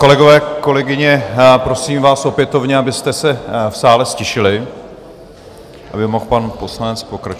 Kolegové, kolegyně, prosím vás opětovně, abyste se v sále ztišili, aby mohl pan poslanec pokračovat.